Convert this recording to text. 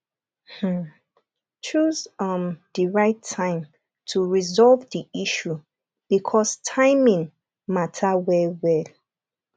um choose um di right time to resolve di issue because timing matter well well